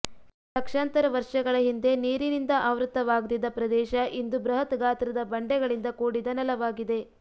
ಲಕ್ಷಾಂತರ ವರ್ಷಗಳ ಹಿಂದೆ ನೀರಿನಿಂದ ಆವೃತ್ತವಾಗ್ದ್ದಿದ ಪ್ರದೇಶ ಇಂದು ಬೃಹತ್ ಗಾತ್ರದ ಬಂಡೆಗಳಿಂದ ಕೂಡಿದ ನೆಲವಾಗಿದೆ